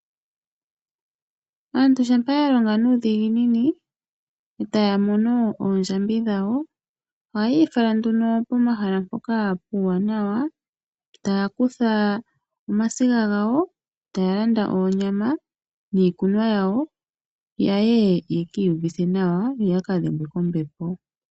Aantu shampa ya longa nuudhiginini eta ya mono oondjambi dhawo ohaya ifala pomahala mpoka puuwanawa taya kutha omasiga gawo, taya landa oonyama niikunwa yawo yaye ye kiiyuvithe nawa yo yaka dhengwe kombepo.